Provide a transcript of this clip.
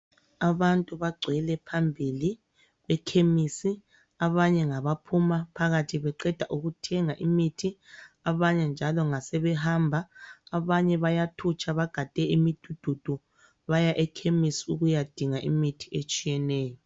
Abantu bagcwele phambili ekhemisi, abanye ngaba phuma phakathi beqeda ukuthenga imithi, abanye njalo ngasebe hamba, abanye bayathutsha bagade imidududu baya ekhemisi ukuya dinga imithi etshiyeneyo.